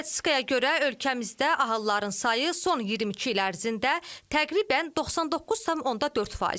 Statistikaya görə ölkəmizdə ahılların sayı son 22 il ərzində təqribən 99,4%.